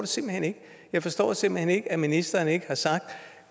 simpelt hen ikke jeg forstår simpelt hen ikke at ministeren ikke har sagt